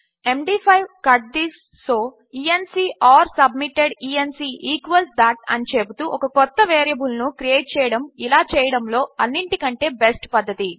MD five cut this so E N C or submitted E N C equals that అని చెపుతూ ఒక క్రొత్త వేరియబుల్ ను క్రియేట్ చేయడము ఇలా చేయడములో అన్నిటికంటే బెస్ట్ పద్ధతి